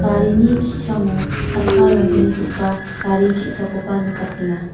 garini ki·sango chakka ronggnigipa gari ge·sakoba nikatenga.